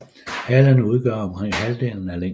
Halen udgør omkring halvdelen af længden